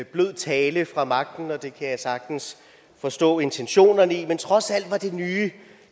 blød tale fra magtens side og det kan jeg sagtens forstå intentionerne i var trods alt nye